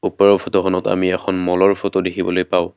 ওপৰৰ ফটো খনত আমি এখন মল ৰ ফটো দেখিবলৈ পাওঁ।